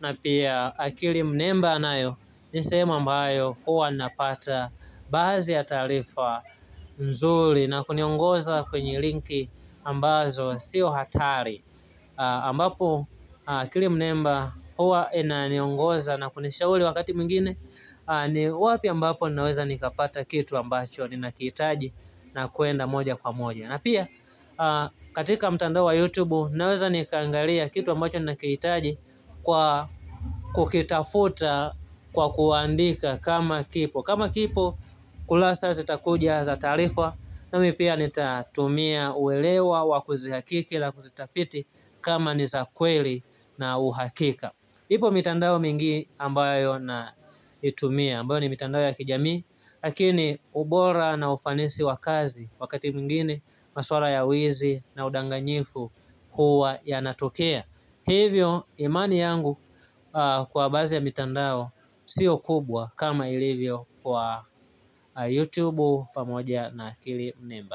na pia akili mnemba anayo ni sehemu ambayo huwa napata baadhi ya taarifa mzuri na kuniongoza kwenye linki ambazo sio hatari. Ambapo kile mnemba huwa inaniongoza na kunishauri wakati mwingine ni wapi ambapo ninaweza nikapata kitu ambacho ninakihitaji na kuenda moja kwa moja na pia katika mtandao wa YouTube naweza nikaangalia kitu ambacho ninakihitaji kwa kukitafuta kwa kuandika kama kipo, kama hakipo kurasa zitakuja za taarifa nami pia nitatumia uelewa wa kuzihakiki la kuzitafiti kama ni za kweli na uhakika Ipo mitandao mingi ambayo naitumia ambayo ni mitandao ya kijamii lakini ubora na ufanisi wa kazi wakati mwingine maswala ya wizi na udanganyifu huwa yanatokea. Hivyo imani yangu kwa baadhi ya mitandao sio kubwa kama ilivyo kwa YouTube pamoja na kilimnemba.